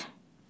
Səməd.